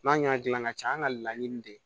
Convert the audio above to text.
N'a ɲɛ gilanna ka ca an ŋa laɲini de ye